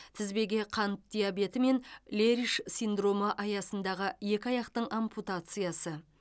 тізбеге қан диабеті мен лериш синдромы аясындағы екі аяқтың ампутациясы